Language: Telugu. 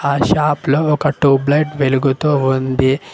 ఆ షాప్ లో ఒక టూబ్ లైట్ వెలుగుతూ ఉంది.